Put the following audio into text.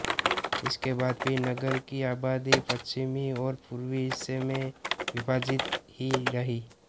इसके बाद भी नगर की आबादी पश्चिमी और पूर्वी हिस्से में विभाजित ही रहीं